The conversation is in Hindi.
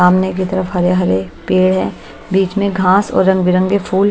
सामने की तरफ हरे हरे पेड़ है बीच में घास और रंग बिरंगे फूल--